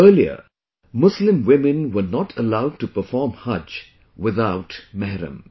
Earlier, Muslim women were not allowed to perform 'Hajj' without Mehram